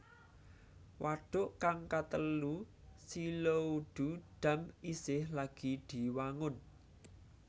Wadhuk kang katelu Xiluodu Dam isih lagi diwangun